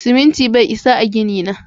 Siminti bai isa a gini na.